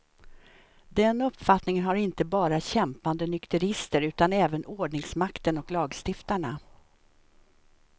Den uppfattningen har inte bara kämpande nykterister, utan även ordningsmakten och lagstiftarna.